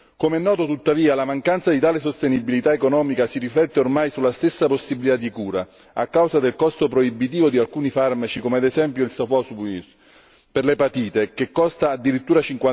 Come è noto, tuttavia, la mancanza di tale sostenibilità economica si riflette ormai sulla stessa possibilità di cura a causa del costo proibitivo di alcuni farmaci, come ad esempio il Sofosbuvir per l'epatite che costa addirittura